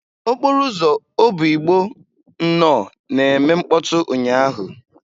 Okporo ụzọ Obigbo nnọ na-eme mkpọtụ ụnyahụ.